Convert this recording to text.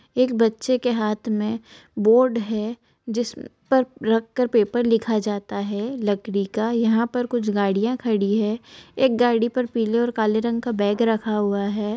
एक बच्चे के हाथ में बोर्ड हैं जिस पर रखकर पेपर लिखा जाता हैं लकड़ी का यहाँ पर कुछ गाड़ियाँ खड़ी हैं एक गाड़ी पर पीले और काले रंग का बैग रखा हुआ हैं।